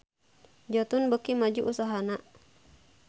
Jotun beuki maju usahana